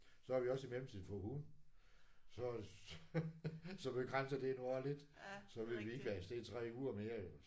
Så har vi også i mellemtiden fået hund. Så så begrænser det nu jo også lidt. Så vi ikke lige kan være afsted i 3 uger mere jo